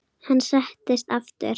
Hann settist aftur.